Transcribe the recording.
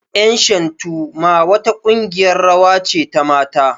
Ƴan shantu ma wa ta ƙungiyar rawa ce ta mata